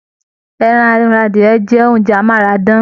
Ẹran ará adìyẹ̀ jẹ oúnjẹ amárádán.